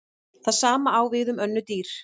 Það sama á við um önnur dýr.